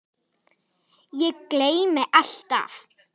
Ég gleymi alltaf.